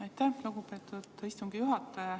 Aitäh, lugupeetud istungi juhataja!